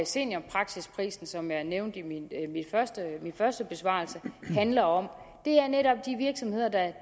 seniorpraksisprisen som jeg nævnte i mit første første svar handler om det er netop de virksomheder der